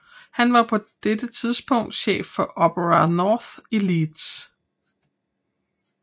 Han var på dette tidspunkt chef for Opera North i Leeds